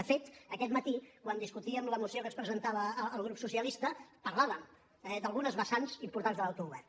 de fet aquest matí quan discutíem la moció que ens presentava el grup socialista parlàvem d’algunes vessants importants de l’autogovern